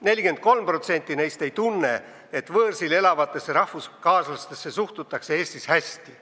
43% neist ei tunne, et võõrsil elavatesse rahvuskaaslastesse suhtutaks Eestis hästi.